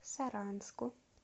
саранску